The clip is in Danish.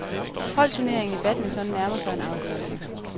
Holdturneringen i badminton nærmer sig en afgørelse.